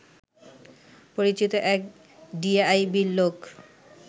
পরিচিত এক ডিআইবির লোক